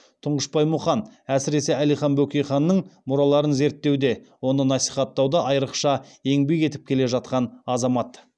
тұңғышбай мұқан әсіресе әлихан бөкейханның мұраларын зерттеуде оны насихаттауда айрықша еңбек етіп келе жатқан азамат